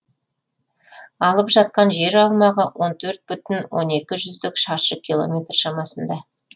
алып жатқан жер аумағы от төрт бүтін он екі жүздік шаршы километр шамасында